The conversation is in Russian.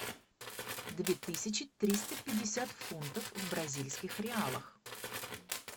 две тысячи триста пятьдесят фунтов в бразильских реалах